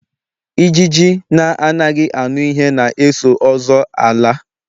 Ijiji na anaghị aṅụ ihe na eso ọzọ ala